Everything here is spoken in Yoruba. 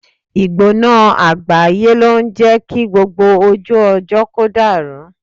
Ìgbóná àgbáyé ló ń jé kí gbogbo ojú ọjọ́ kó dàrú.